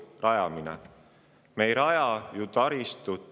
] väga praktilised küsimused, nagu taristu rajamine.